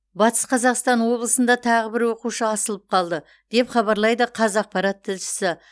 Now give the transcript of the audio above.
батыс қазақстан облысында тағы бір оқушы асылып қалды деп хабарлайды қазақпарат тілшісі